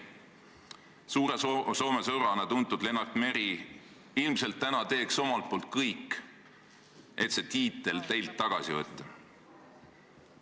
Ilmselt täna teeks suure Soome sõbrana tuntud Lennart Meri omalt poolt kõik, et see tiitel teilt tagasi võtta.